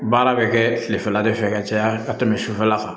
Baara bɛ kɛ kilefɛla de fɛ ka caya ka tɛmɛ sufɛla kan